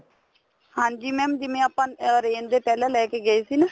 ਹਾਂਜੀ mam ਜਿਵੇਂ ਆਪਾਂ orange ਦੇ ਪਹਿਲਾਂ ਲੈਕੇ ਗਏ ਸੀ ਨਾ